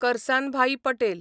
Karsanbhai Patel